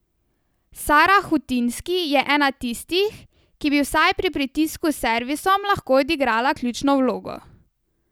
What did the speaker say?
Sara Hutinski je ena tistih, ki bi vsaj pri pritisku s servisom lahko odigrala ključno vlogo.